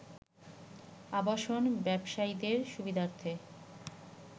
আবাসন ব্যবসায়ীদের সুবিধার্থে